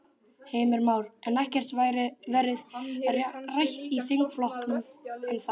Heimir Már: En ekkert verið rætt í þingflokknum ennþá?